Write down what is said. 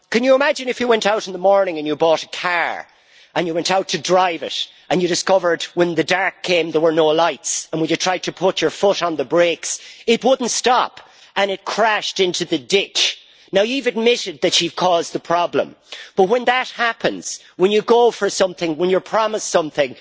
Imagine you went out in the morning and bought a car, but when you went out to drive it you discovered when the dark came that there were no lights, and when you tried to put your foot on the brakes, it would not stop and crashed into the ditch. You have admitted that you caused the problem, but when that happens when you go for something, when you promise something